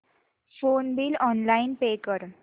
phone bill online pay कर